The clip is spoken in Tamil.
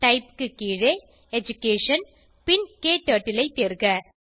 டைப் க்கு கீழே எடுகேஷன் பின் க்டர்ட்டில் ஐ தேர்க